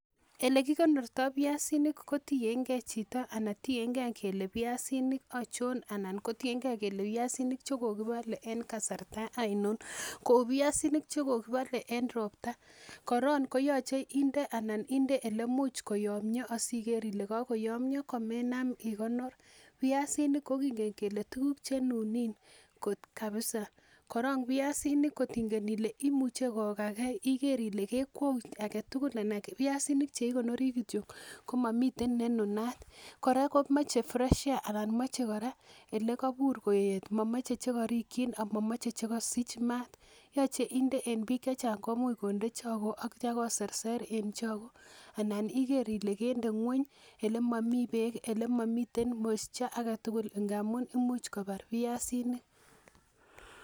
elekikonortoi viasinik ko tiengei chito anan tiengei kele viasinik aichon anan viasinik che kokipalei eng kasarta ainon. Kou viasinik che kokipalei eng ropta, koron koyachei inde anan inde ole imuch koyomio asiker ile kakoyomia komenam ikonor. Viasinik kokingen kele tukuk chenunin kabisa. Kora viasinik kotinge ile imuche kokagei iker ile kekweu agetugul anan viasinik cheikonori kitio komomi nenunat. Kora komachei fresh air anan mochei kora olekabur koet mamochei chekarikchin anan chekasich maat. Yachei inde eng biik chechang komuch konde choko ak koserser en choko. Anan iker ile kende ng'wenyele momi beek ,ele momi moisture agetugul ngamun imuch kobar viasinik